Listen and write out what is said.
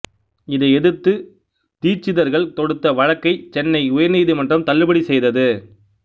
இதை எதிர்த்து தீட்சிதர்கள் தொடுத்த வழக்கை சென்னை உயர்நீதிமன்றம் தள்ளுபடி செய்தது